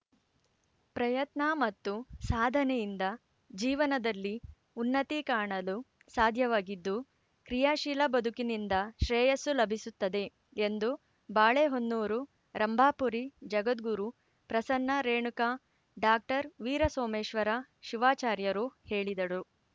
ಪ್ರಯತ್ನ ಮತ್ತು ಸಾಧನೆಯಿಂದ ಜೀವನದಲ್ಲಿ ಉನ್ನತಿ ಕಾಣಲು ಸಾಧ್ಯವಾಗಿದ್ದು ಕ್ರಿಯಾಶೀಲ ಬದುಕಿನಿಂದ ಶ್ರೇಯಸ್ಸು ಲಭಿಸುತ್ತದೆ ಎಂದು ಬಾಳೆಹೊನ್ನೂರು ರಂಭಾಪುರಿ ಜಗದ್ಗುರು ಪ್ರಸನ್ನ ರೇಣುಕಾ ಡಾಕ್ಟರ್ ವೀರಸೋಮೇಶ್ವರ ಶಿವಾಚಾರ್ಯರು ಹೇಳಿದರು